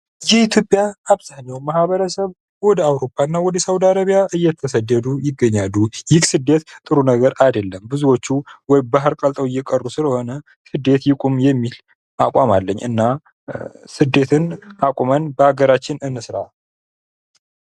የኢትዮጵያ አብዛኛው ማህበረሰብ ወደ አውሮፓ እና ሳውዲ አረቢያ እየተሰደዱ ይገኛሉ ።ይህ ስደት ጥሩ ነገር አይደለም ።ብዙዎቹ ወይ ባህር ላይ ቀልጠው እየቀሩ ስለሆነ ስደት ይቁም የሚል አቋም አለኝ ።እና ስደትን አቁመን በሀገራችን እንስራ።